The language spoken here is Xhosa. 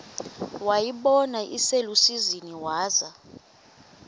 wayibona iselusizini waza